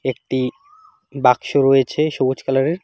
একটি বাক্স রয়েছে সবুজ কালারের।